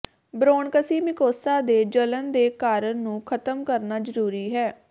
ਬ੍ਰੌਨਕਸੀ mucosa ਦੇ ਜਲਣ ਦੇ ਕਾਰਨ ਨੂੰ ਖਤਮ ਕਰਨਾ ਜ਼ਰੂਰੀ ਹੈ